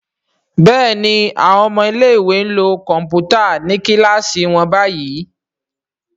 Béèni àwọn ọmọ ilé ìwé nlò Kọ̀ǹpútà ní kilasi wón bayí.